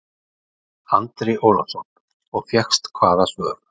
Andri Ólafsson: Og fékkst hvaða svör?